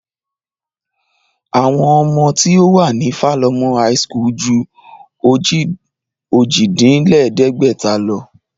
Àwọn ọmọ tí ó wà ní Falomo high school ju ojì-dín-lẹ̀ẹ́dẹ́gbẹ̀ta lọ